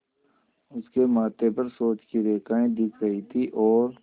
उसके माथे पर सोच की रेखाएँ दिख रही थीं और